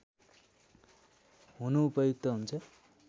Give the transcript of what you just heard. हुनु उपयुक्त हुन्छ